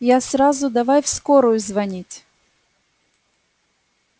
я сразу давай в скорую звонить